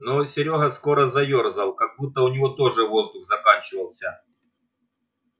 но серёга скоро заёрзал как будто у него тоже воздух заканчивался